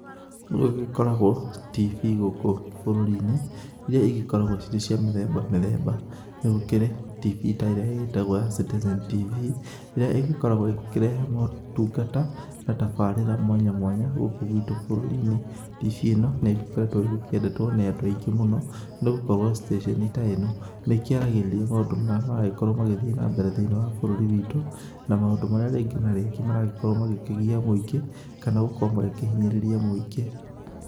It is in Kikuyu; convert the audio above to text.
Nĩ gũgĩkoragwo tv gũkũ bũrũri-inĩ iria igĩkoragwo cirĩ cia mĩthemba mĩthemba, nĩ gũkĩrĩ tv ta ĩrĩa ĩgĩtagwo ya CItizen TV, ĩrĩa ĩgĩkoragwo ĩgĩkĩrehe motungata na tabarĩra mwanya mwanya gũkũ gwitũ bũrũri-inĩ. TV ĩno nĩ ĩgĩkoretwo ĩgĩkĩendetwo nĩ andũ aingĩ mũno, nĩ gũkorwo station ta ĩno nĩ ĩkĩaragĩrĩria maũndũ marĩa maragĩkorwo magĩthiĩ na mbere thĩ-inĩ wa bũrũri witũ, na maũndũ marĩa rĩngĩ na rĩngĩ maragĩkorwo magĩkĩgia mũingĩ kana gũkorwo magĩkĩhinyĩrĩria mũingĩ.